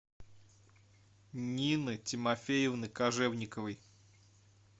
нины тимофеевны кожевниковой